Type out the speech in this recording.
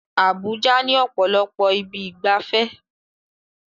Abuja ní ọ̀pọ̀lọpọ̀ ibi ìgbafẹ́